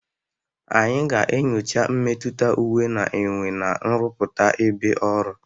Anyị ga-enyocha mmetụta uwe na-enwe na nrụpụta ebe ọrụ.